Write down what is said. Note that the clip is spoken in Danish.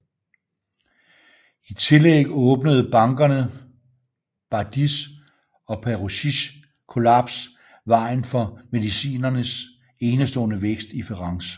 I tillæg åbnede bankerne Bardis og Peruzzis kollaps vejen for Mediciernes enestående vækst i Firenze